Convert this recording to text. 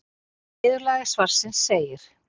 Í niðurlagi svarsins segir: